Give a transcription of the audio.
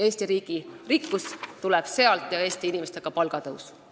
Eesti riigi rikkus ja Eesti inimeste palgatõus tuleb sealt.